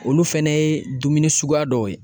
Olu fɛnɛ ye dumuni suguya dɔw ye.